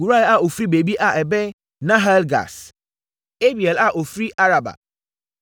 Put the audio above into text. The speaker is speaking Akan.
Hurai a ɔfiri baabi a ɛbɛn Nahale-Gaas; Abiel a ɔfiri Araba.